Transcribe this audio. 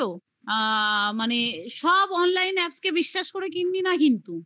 তো? আ মানে সব online apps কে বিশ্বাস করে কিনবি না কিন্তু